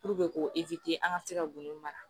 k'o an ka se ka gun mara